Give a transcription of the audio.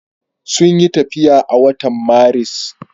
Sun yi tafiya a watan Maris.